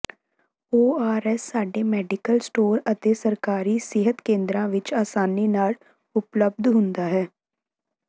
ORS ਸਾਰੇ medical store ਅਤੇ ਸਰਕਾਰੀ ਸਿਹਤ ਕੇਂਦਰਾਂ ਵਿੱਚ ਆਸਾਨੀ ਨਾਲ ਉਪਲੱਬਧ ਹੁੰਦਾ ਹੈ